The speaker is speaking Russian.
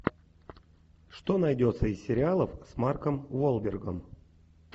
что найдется из сериалов с марком уолбергом